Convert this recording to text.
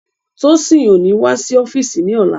Tósìn ó ní wá sí ọ́físì ní ọ̀la